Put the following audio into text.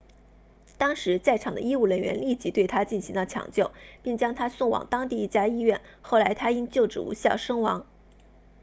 当时在场的医务人员立即对他进行了抢救并将他送往当地一家医院后来他因救治无效身亡